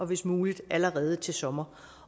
hvis muligt allerede til sommer